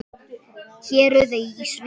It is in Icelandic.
Héruð í Svíþjóð